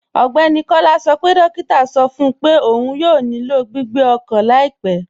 Ọgbẹ́ni Kọla sọ pé dòkìtà sọ fún pé ọún yóò nílò gbìgbé ọkan laipẹ̀.